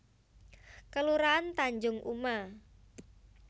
Kelurahan Tanjung Uma